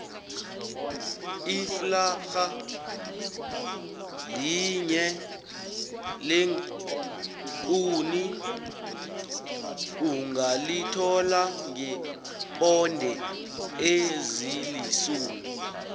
iflarha linye leenkuni ungalithola ngeeponde ezilisumi